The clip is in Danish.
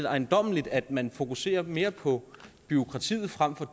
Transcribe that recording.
ejendommeligt at man fokuserer mere på bureaukratiet frem for